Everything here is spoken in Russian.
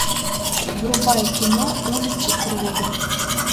врубай кино улицы крови